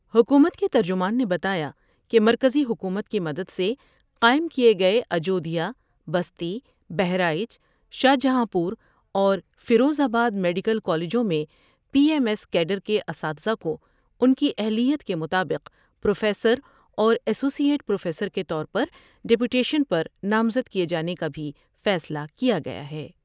حکومت کے ترجمان نے بتایا کہ مرکزی حکومت کی مدد سے قائم کئے گئے اجودھیا بستی ، بہرائچ شاہجہاں پوراورفروز آبادمیڈیکل کالجوں میں پی ایم ایس کیڈر کے اساتذہ کو ان کی اہلیت کے مطابق پروفیسراورایسوسی ایٹ پروفیسر کے طور پر ڈیپوٹیشن پر نامزد کئے جانے کا بھی فیصلہ کیا گیا ہے ۔